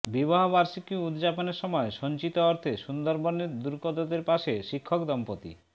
বিবাহ বার্ষিকী উদযাপনের সঞ্চিত অর্থে সুন্দরবনের দুর্গতদের পাশে শিক্ষক দম্পতি